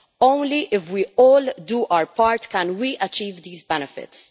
Only if we all do our part can we achieve these benefits.